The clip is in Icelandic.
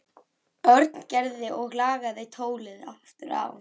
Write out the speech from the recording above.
Örn Gerði og lagði tólið aftur á.